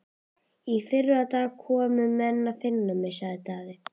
Í fyrradag komu menn að finna mig, sagði Daði.